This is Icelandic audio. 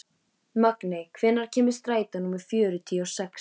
Magney, hvenær kemur strætó númer fjörutíu og sex?